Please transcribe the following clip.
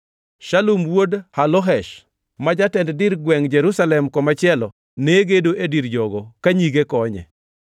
Shalum wuod Halohesh, ma jatend dir gwengʼ Jerusalem komachielo ne gedo e dir jogo ka nyige konye.